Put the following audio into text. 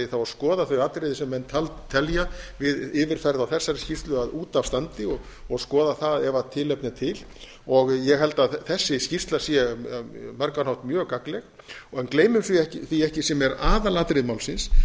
eigi þá að skoða þau atriði sem menn telja við yfirferð á þessari skýrslu að út af standi og skoða það ef tilefni er til ég held að þessi skýrsla sé á margan hátt mjög gagnleg gleymum því ekki sem er aðalatriði málsins